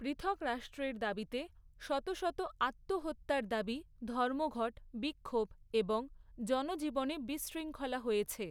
পৃথক রাষ্ট্রের দাবিতে শত শত আত্মহত্যার দাবি, ধর্মঘট, বিক্ষোভ এবং জনজীবনে বিশৃঙ্খলা হয়েছে।